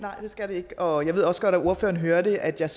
nej det skal det ikke og jeg ved også godt at ordføreren hørte at jeg